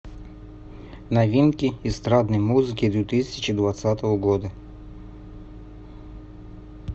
новинки эстрадной музыки две тысячи двадцатого года